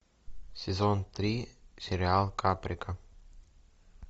сезон три сериал каприка